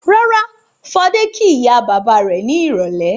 Rárá, Fadé kí ìyá-bàbá rẹ̀ ní ìrọ́lẹ́.